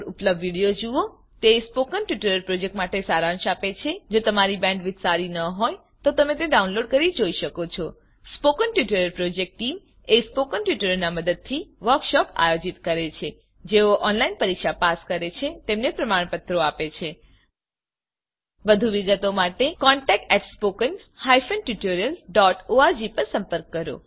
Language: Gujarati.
httpspoken tutorialorg What is a Spoken Tutorial તે સ્પોકન ટ્યુટોરીયલ પ્રોજેક્ટનો સારાંશ આપે છે જો તમારી બેન્ડવિડ્થ સારી ન હોય તો તમે ડાઉનલોડ કરી તે જોઈ શકો છો spoken tutorial project team spoken ટ્યુટોરીયલોનાં મદદથી વર્કશોપોનું આયોજન કરે છે જેઓ ઓનલાઈન પરીક્ષા પાસ કરે છે તેમને પ્રમાણપત્રો આપે છે વધુ વિગત માટે કૃપા કરી contactspoken tutorialorg પર સંપર્ક કરો